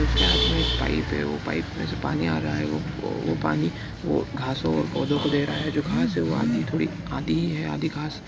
उसके हाथ मे पाइप है उस पाइप मे से पानी आ रहा है वो पानी वो घासो और पौधों को दे रहा है। जो घासे वो आधी थोड़ी आधी ही है आधी घास--